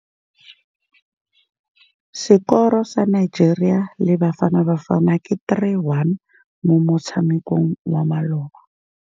Sekôrô sa Nigeria le Bafanabafana ke 3-1 mo motshamekong wa malôba.